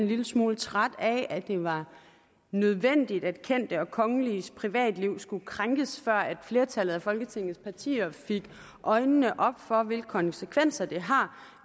lille smule træt af at det var nødvendigt at kendte og kongeliges privatliv skulle krænkes før flertallet af folketingets partier fik øjnene op for hvilke konsekvenser det har